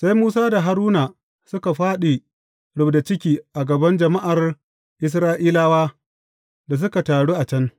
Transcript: Sai Musa da Haruna suka fāɗi rubda ciki a gaban jama’ar Isra’ilawa da suka taru a can.